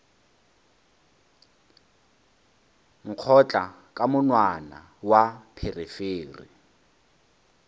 nkgotla ka monwana wa pherefere